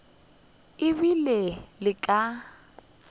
e be e le ka